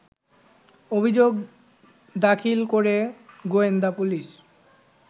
অভিযোগ দাখিল করে গোয়েন্দাপুলিশ